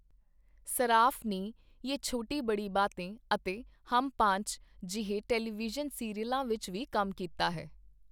ਸਰਾਫ਼ ਨੇ 'ਯੇ ਛੋਟੀ ਬੜੀ ਬਾਤੇਂ' ਅਤੇ 'ਹਮ ਪਾਂਚ' ਜਿਹੇ ਟੈਲੀਵਿਜ਼ਨ ਸੀਰੀਅਲਾਂ ਵਿੱਚ ਵੀ ਕੰਮ ਕੀਤਾ ਹੈ।